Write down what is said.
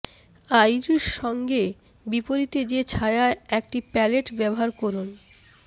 Irish সঙ্গে বিপরীতে যে ছায়া একটি প্যালেট ব্যবহার করুন